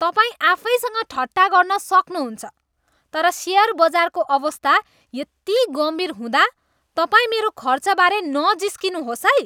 तपाईँ आफैसँग ठट्टा गर्न सक्नुहुन्छ तर सेयर बजारको अवस्था यति गम्भीर हुँदा तपाईँ मेरो खर्चबारे नजिस्किनुहोस् है।